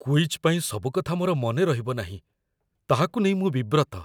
Quiz ପାଇଁ ସବୁ କଥା ମୋର ମନେ ରହିବନାହିଁ, ତାହାକୁ ନେଇ ମୁଁ ବିବ୍ରତ ।